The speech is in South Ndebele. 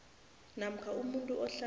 namkha umuntu ohlala